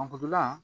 Angideya